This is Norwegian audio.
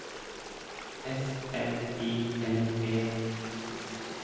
S M I L E